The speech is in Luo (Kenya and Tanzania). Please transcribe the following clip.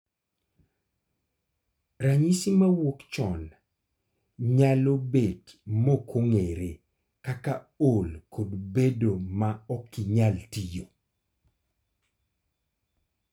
. Ranyisi mawuok chon nyalo bed mokong'ere kaka ol kod bedo ma okinyal tiyo